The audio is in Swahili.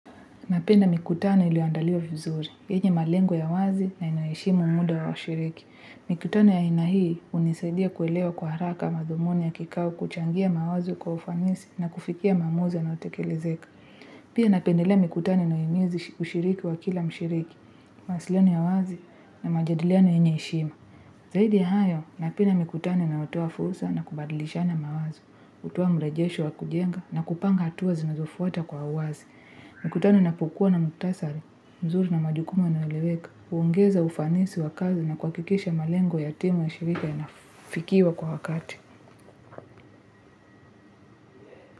Napenda mikutano iliyoandaliwa vizuri. Yenye malengo ya wazi na inaheshimu muda wa washiriki. Mikutano ya ainahii hunisaidia kuelewa kwa haraka madhumuni ya kikao kuchangia mawazo kwa ufanisi na kufikia maamuzi yana yotekelezeka. Pia napendelea mikutano inayohimizi ushiriki wa kila mshiriki. Mawasiliano ya wazi na majadiliano yenyeheshima. Zaidi ya hayo, napenda mikutano inayotoa fursa na kubadilisha na mawazo. Kutoa mrejesho wa kujenga na kupanga hatua zinazofuata kwa uwazi. Mkutano inapokua na mkhutasari, mzuri na majukumu inaeleweka, huongeza ufanisi wa kazi na kuha kikisha malengo ya timu ya shirika ya nafikiwa kwa wakati.